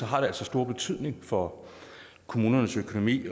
har det stor betydning for kommunernes økonomi